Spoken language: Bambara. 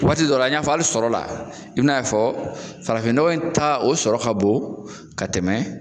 Waati dɔ la an ya fɔ hali sɔrɔ la i bɛ n'a ye k'a fɔ farafin nɔgɔ ta o sɔrɔ ka bon ka tɛmɛ